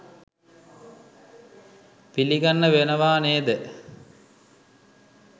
පිළිගන්න වෙනවා නේද?